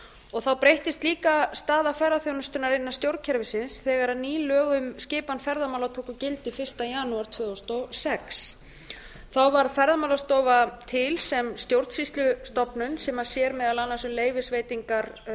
og þá breyttist líka staða ferðaþjónustunnar innan stjórnkerfisins þegar ný lög um skipan ferðamál tók gildi fyrsta janúar tvö þúsund og sex þá var ferðamálastofa til sem stjórnsýslustofnun sem sér meðal annars um leyfisveitingar